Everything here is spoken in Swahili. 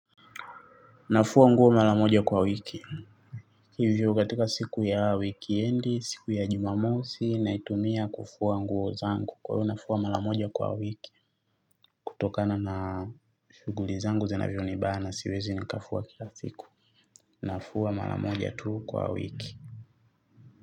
Nafua nguo mara moja kwa wiki. Hivyo katika siku ya wikendi, siku ya jumamosi, naitumia kufua nguo zangu. Kwa hiyo nafua mara moja kwa wiki. Kutokana na shughuli zangu zinavvyo nibana siwezi nikafua kila siku. Nafua mara moja tuu kwa wiki.